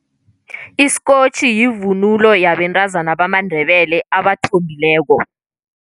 Isikotjhi yivunulo yabentazana bamaNdebele abathombileko.